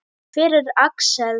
Hver er Axel?